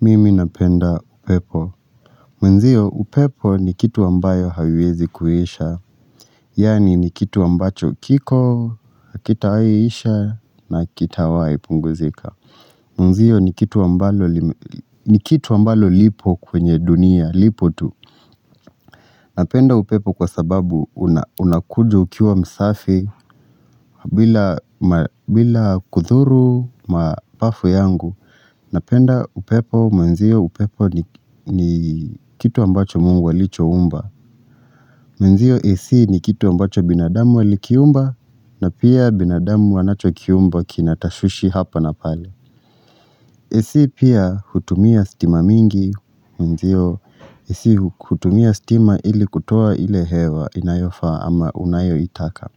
Mimi napenda upepo. Mwenzio upepo ni kitu ambayo haiwezi kuisha. Yaani ni kitu ambacho kiko, hakitawahi isha na hakitawahi punguzika. Mwenzio ni kitu ambalo lipo kwenye dunia, lipo tu. Napenda upepo kwa sababu unakuja ukiwa msafi bila kudhuru mapafu yangu. Napenda upepo mwenzio upepo ni kitu ambacho mungu alichoumba. Mwenzio ac ni kitu ambacho binadamu walikiumba na pia binadamu wanacho kiumba kinatashwishi hapa na pale. Ac pia hutumia stima mingi mwenzio ac hutumia stima ili kutoa ile hewa inayofaa ama unayo itaka.